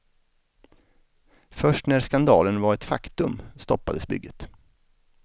Först när skandalen var ett faktum stoppades bygget.